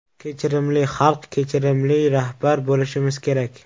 Kechirimli xalq, kechirimli rahbar bo‘lishimiz kerak.